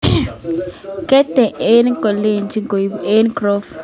ketien eng kechokchi koibu eng groove